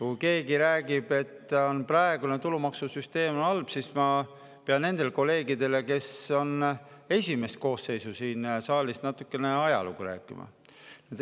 Kui keegi räägib, et praegune tulumaksusüsteem on halb, siis ma pean nendele kolleegidele, kes on esimest koosseisu siin saalis, natukene ajalugu rääkima.